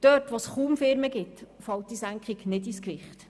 Wo es kaum Firmen gibt, fällt diese Senkung nicht ins Gewicht.